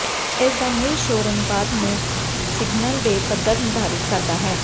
ਇਸ ਦਾ ਮੁੱਲ ਸ਼ੋਰ ਅਨੁਪਾਤ ਨੂੰ ਸਿਗਨਲ ਦੇ ਪੱਧਰ ਨਿਰਧਾਰਿਤ ਕਰਦਾ ਹੈ